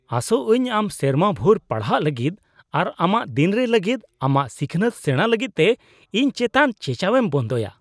ᱟᱥᱚᱜ ᱟᱹᱧ ᱟᱢ ᱥᱮᱨᱢᱟ ᱵᱷᱩᱨ ᱯᱟᱲᱦᱟᱜ ᱞᱟᱹᱜᱤᱫ ᱟᱨ ᱟᱜᱟᱢ ᱫᱤᱱᱨᱮ ᱞᱟᱹᱜᱤᱫ ᱟᱢᱟᱜ ᱥᱤᱠᱷᱱᱟᱹᱛ ᱥᱮᱲᱟ ᱞᱟᱹᱜᱤᱫᱛᱮ ᱤᱧ ᱪᱮᱛᱟᱱ ᱪᱮᱪᱟᱣᱮᱢ ᱵᱚᱱᱫᱚᱭᱟ ᱾